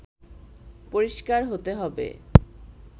পরিষ্কার হতে হবে